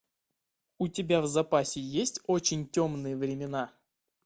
у тебя в запасе есть очень темные времена